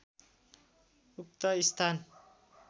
उक्त स्थान